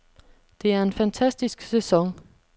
Det er en fantastisk sæson.